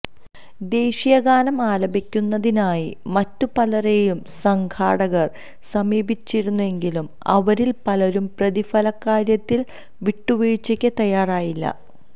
ദേശീയഗാനം ആലപിക്കുന്നതിനായി മറ്റു പലരേയും സംഘാടകർ സമീപിച്ചിരുന്നെങ്കിലും അവരിൽ പലരും പ്രതിഫലക്കാര്യത്തിൽ വിട്ടുവീഴ്ച്ചയ്ക്ക് തയ്യാറായില്ല